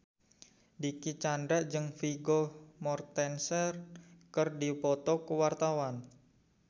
Dicky Chandra jeung Vigo Mortensen keur dipoto ku wartawan